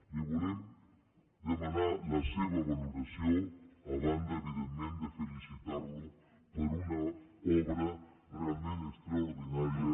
li volem demanar la seva valoració a banda evidentment de felicitar lo per una obra realment extraordinària